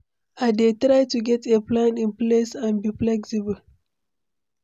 I dey try to get a plan in place and be flexible.